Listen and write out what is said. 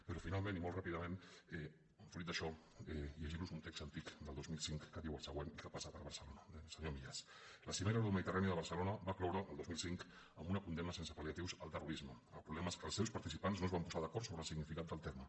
però finalment i molt ràpidament fruit d’això llegir los un text antic del dos mil cinc que diu el següent i que passa per barcelona del senyor millás la cimera euromediterrània de barcelona va cloure el dos mil cinc amb una condemna sense palproblema és que els seus participants no es van posar d’acord sobre el significat del terme